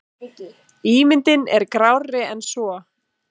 Ímyndin er grárri en svo.